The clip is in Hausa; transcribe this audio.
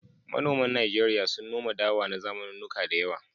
Manoman Najeriya sun noma dawa na zamanannuka da yawa.